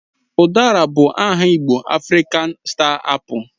Udara bụ bụ aha igbo Afrịkan Star Apu